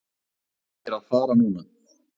Þú ættir að fara núna.